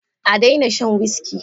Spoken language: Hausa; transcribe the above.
A daina shan wuski